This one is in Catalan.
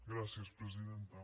gràcies presidenta